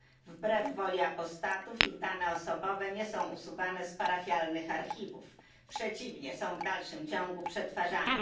Wbrew woli apostatów ich dane osobowe nie są usuwane z parafialnych archiwów, przeciwnie są w dalszym ciągu przetwarzane.